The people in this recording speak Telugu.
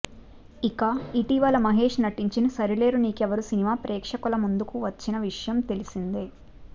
ఇక ఇటీవల మహేష్ నటించిన సరిలేరు నీకెవ్వరు సినిమా ప్రేక్షకుల ముందుకు వచ్చిన విషయం తెలిసిందే